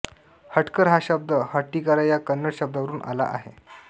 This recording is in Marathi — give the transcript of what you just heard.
हटकर हा शब्द हट्टीकारा या कन्नड शब्दावरून आला आहे